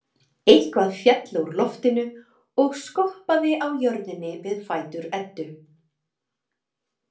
Eitthvað féll úr loftinu og skoppaði á jörðinni við fætur Eddu.